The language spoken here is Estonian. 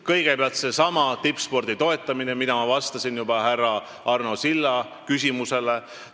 Kõigepealt seesama tippspordi toetamine, nagu ma vastasin juba härra Arno Silla küsimusele.